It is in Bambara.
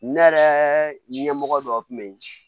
Ne yɛrɛ ɲɛmɔgɔ dɔw tun bɛ yen